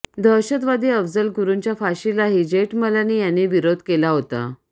दहशतवादी अफजल गुरुच्या फाशीलाही जेठमलानी यांनी विरोध केला होता